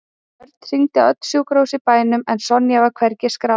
Örn hringdi á öll sjúkrahús í bænum en Sonja var hvergi skráð.